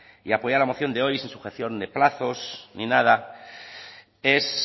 y apoyar la moción de hoy sin sujeción de plazos ni nada es